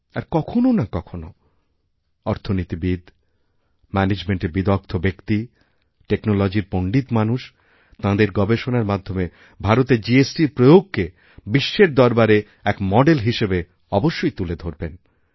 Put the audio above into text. আর কখনও না কখনওঅর্থনীতিবিদ ম্যানেজমেন্টের বিদগ্ধ ব্যক্তি টেকনোলজি র পণ্ডিত মানুষ তাঁদের গবেষণার মাধ্যমে ভারতে জিএসটি র প্রয়োগকে বিশ্বের দরবারে এক মডেল হিসেবে অবশ্যই তুলেধরবেন